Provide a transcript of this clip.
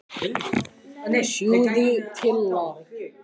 Þú stendur þig vel, Louise!